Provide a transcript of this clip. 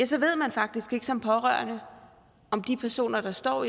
så ved man faktisk ikke som pårørende om de personer der står